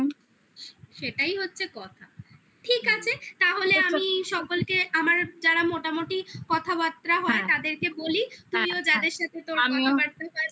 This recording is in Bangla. সেটাই হচ্ছে কথা ঠিক আছে তাহলে আমি সকলকে আমার যারা মোটামুটি কথাবার্তা হয় তাদেরকে বলি তুমিও যাদের সাথে কথাবাতা হয়